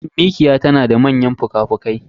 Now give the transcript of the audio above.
Mikiya tanada manyan fuka fuki